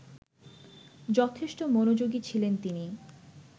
যথেষ্ট মনোযোগী ছিলেন তিনি